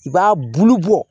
I b'a bulu bɔ